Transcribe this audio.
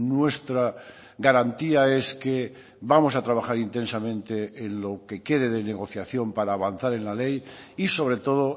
nuestra garantía es que vamos a trabajar intensamente en lo que quede de negociación para avanzar en la ley y sobre todo